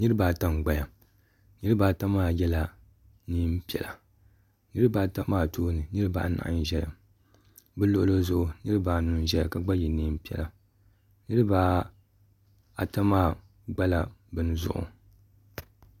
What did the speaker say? Niriba ata m-gbaya niriba ata maa yela neem'piɛla niriba ata maa tooni niriba anahi n-ʒeya bɛ luɣili zuɣu niriba anu n-ʒeya ka gba ye neem'piɛla niriba ata maa gbala bini zuɣu.